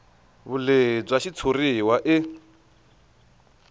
vulehi bya xitshuriwa i